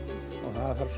og það þarf